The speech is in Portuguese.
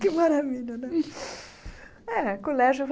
Que maravilha, não é? É colégio